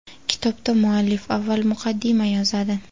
Kitobda muallif avval muqaddima yozadi.